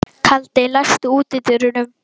Kaldi, læstu útidyrunum.